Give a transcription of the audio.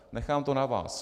Nechám to na vás.